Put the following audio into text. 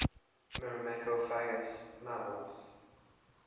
myrmecophagous mammals